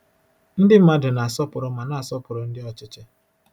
Ndị mmadụ na-asọpụrụ ma na-asọpụrụ ndị ọchịchị.